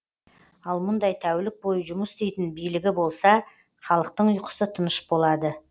ал мұндай тәулік бойы жұмыс істейтін билігі болса халықтың ұйқысы тыныш болады